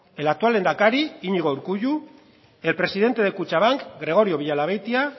el actual lehendakari iñigo urkullu el presidente de kutxabank gregorio villalabeitia